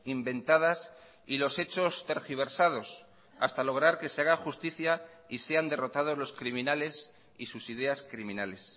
inventadas y los hechos tergiversados hasta lograr que se haga justicia y sean derrotados los criminales y sus ideas criminales